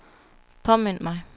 påmind mig